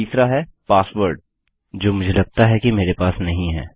तीसरा है पासवर्ड जो मुझे लगता है कि मेरे पास नहीं है